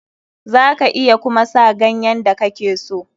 Za ka iya kuma sa ganyen da kake so.